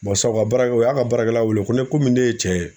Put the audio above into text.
sisan o ka baarakɛlaw o y'a ka baarakɛlaw wele ko ne komi ne ye cɛ ye